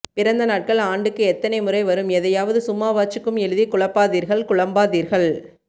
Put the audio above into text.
பிறந்த நாட்கள் ஆண்டுக்கு எத்தனை முறை வரும் எதையாவது சும்மாவாச்சுக்கும் எழுதி குழப் பாதீர்கள் குழம்பாதீர்கள்